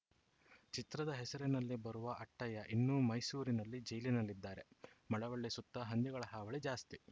ಚಿತ್ರದ ಹೆಸರಿನಲ್ಲಿ ಬರುವ ಅಟ್ಟಯ್ಯ ಇನ್ನೂ ಮೈಸೂರಿನಲ್ಲಿ ಜೈಲಿನಲ್ಲಿದ್ದಾರೆ ಮಳವಳ್ಳಿ ಸುತ್ತ ಹಂದಿಗಳ ಹಾವಳಿ ಜಾಸ್ತಿ